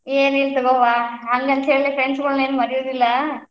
ಏನಿಲ್ಲ ತುಗೋವಾ, ಹಂಗಂತ ಹೇಳಿ friends ಗೋಳ್ನ್ ಏನ್ ಮರಿಯುದಿಲ್ಲ.